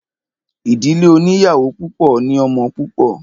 Ìdílé oníyàwó púpọ̀ ní ọmọ púpọ̀.